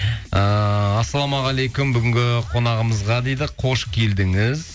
ыыы ассалаумағалейкум бүгінгі қонағымызға дейді қош келдіңіз